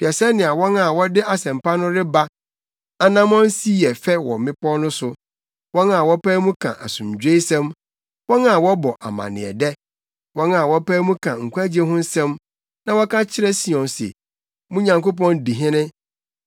Hwɛ sɛnea wɔn a wɔde asɛmpa no reba anammɔn si yɛ fɛ wɔ mmepɔw no so, wɔn a wɔpae mu ka asomdwoesɛm, wɔn a wɔbɔ amanneɛdɛ, wɔn a wɔpae mu ka nkwagye ho asɛm na wɔka kyerɛ Sion se, “Mo Nyankopɔn di hene.”